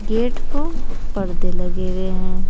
Gate प परदे लगे हुए हैं।